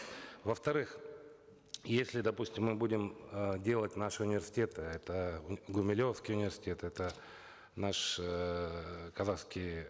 во вторых если допустим мы будем э делать наш университет это гумилевский университет это наш эээ казахский